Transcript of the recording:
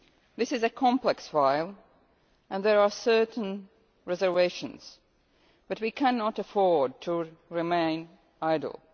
This is a complex issue and there are certain reservations, but we cannot afford to remain idle.